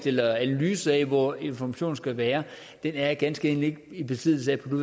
eller analyse af hvor informationerne skal være er jeg ganske enkelt ikke i besiddelse af på